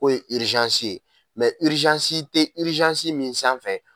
K'o ye ye tɛ min sanfɛ.